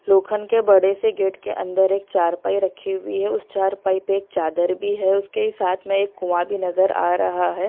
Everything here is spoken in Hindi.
लोखंड के बड़े से गेट के अंदर एक चारपाई रखी हुई है उस चारपाई पे एक चादर भी है उसके ही साथ में एक कुआं भी नजर आ रहा है।